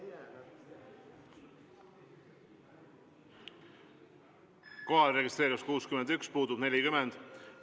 Kohalolijaks registreerus 61 Riigikogu liiget, puudub 40.